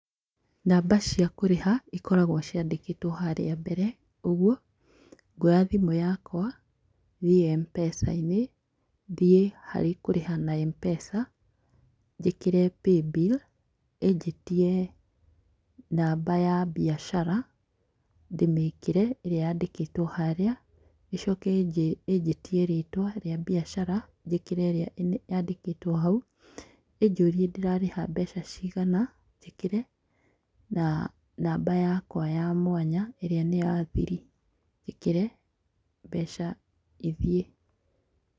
Namba cia kũrĩha ikoragwo ciandĩkĩtwo harĩa mbere, ũguo ngwoya thimũ yakwa thiĩ M-Pesa inĩ, thiĩ harĩ kũrĩha na M-Pesa njĩkĩre paybill ĩnjĩtie namba ya biacara ndĩmĩkĩre ĩrĩa yandĩkĩtwo haria ĩchoke ĩnjĩtie rĩtwa rĩa biacara njĩkĩre ĩrĩa ya ndĩkĩtwo hau ĩnjũrie ndĩrarĩha mbeca cigana njĩkĩre na namba yakwa ya mwanya ĩrĩa nĩya thiri njĩkĩre mbeca ithiĩ.